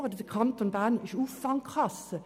Die Kasse des Kantons Bern ist eine Auffangkasse.